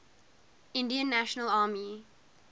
indian national army